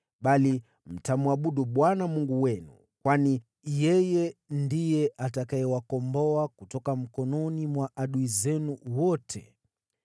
Bali, mtamwabudu Bwana Mungu wenu, kwani yeye ndiye atakayewakomboa kutoka mikononi mwa adui zenu wote.”